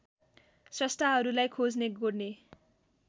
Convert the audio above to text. स्रष्टाहरूलाई खोज्ने गोड्ने